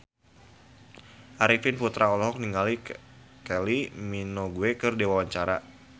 Arifin Putra olohok ningali Kylie Minogue keur diwawancara